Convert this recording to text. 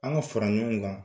An ka fara ɲɔgɔn kan.